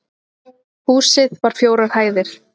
Húsið var fjórar hæðir